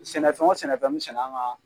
Sɛnɛfɛn o sɛnɛfɛn me sɛnɛ an ka